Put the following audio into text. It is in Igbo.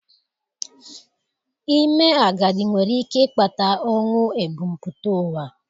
Ime agadi nwere ike ịkpata ọnwụ ebumpụta ụwa.